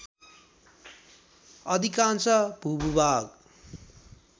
अधिकांश भूभाग